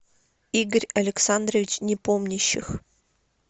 игорь александрович непомнящих